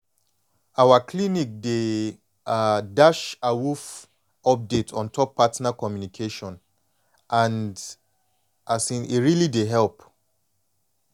our clinic dey um dash awoof update ontop partner communication and um e really dey help